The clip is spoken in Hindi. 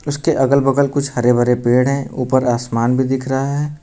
उसके अगल बगल कुछ हरे भरे पेड़ हैं ऊपर आसमान भी दिख रहा है।